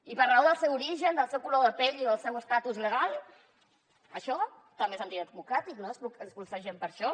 i per raó del seu origen del seu color de pell o del seu estatus legal això també és antidemocràtic no expulsar gent per això